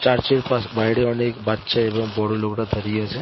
Church এর পাশে বাইরে অনেক বাচ্ছা এবং বড়ো লোকরা দাঁড়িয়ে আছে।